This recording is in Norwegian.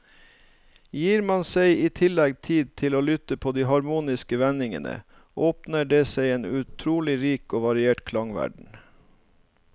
Gir man seg i tillegg tid til å lytte på de harmoniske vendingene, åpner det seg en utrolig rik og variert klangverden.